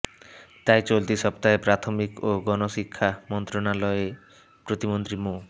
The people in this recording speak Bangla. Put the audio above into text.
তাই চলতি সপ্তাহে প্রাথমিক ও গণশিক্ষা মন্ত্রণালয়ে প্রতিমন্ত্রী মো